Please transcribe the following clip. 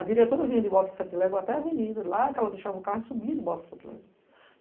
A diretora vinha de Bota-Sete-Lego até a Avenida, lá que ela deixava o carro e subia de Bota-Sete-Lego.